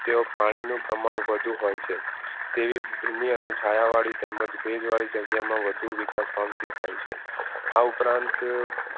તેઓ પાણીનું પ્રમાણ વધુ હોય છે તેવી ધીમી અને છાયા વાળી તેમજ ભેજવાળી જગ્યામાં વધુ વિકાસ પામતી હોય છે. આ ઉપરાંત